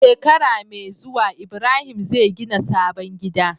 Shekara me zuwa ibrahim zai gina sabon gida